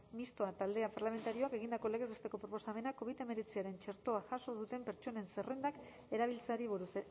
mistoa talde parlamentarioak egindako legez besteko proposamena covid hemeretziaren txertoa jaso duten pertsonen zerrendak erabiltzeari buruz